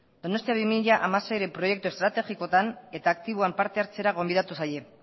donostia bi mila hamaseiren proiektu estrategikoetan eta aktiboan partehartzera gonbidatu zaie